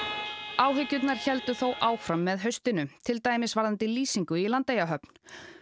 áhyggjurnar héldu þó áfram með haustinu til dæmis varðandi lýsingu í Landeyjahöfn